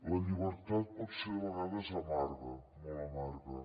la llibertat pot ser de vegades amarga molt amarga